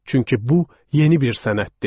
Çünki bu yeni bir sənət idi.